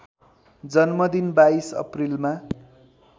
जन्मदिन २२ अप्रिलमा